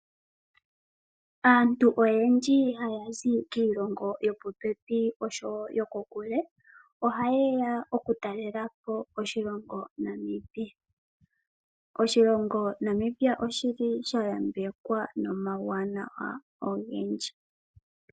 Aantu oyendji haya zi kiilongo yo popepi osho wo yokokule oha yeya oku talelapo oshilongo Namibia. Oshilongo Namibia oshili sha yambekwa nomauwanawa ogendji.